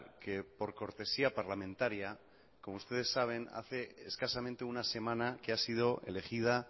que por cortesía parlamentaria como ustedes saben hace escasamente una semana que ha sido elegida